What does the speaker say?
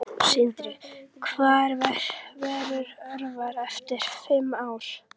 Sindri: Hvar verður Össur eftir fimm ár?